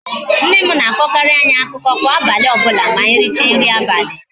Nne m na-akọkarịrị anyị akụkọ kwa abalị ọbụla ma anyị richa nri abalị